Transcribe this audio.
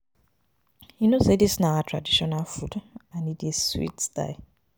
You no know say dis na our traditional food and e dey sweet die.